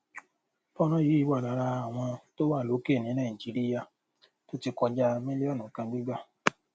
fọnrán yìí wà lára àwọn tó wà lókè ní nàìjíríà tó ti kọjá mílíọnù kan gbígbà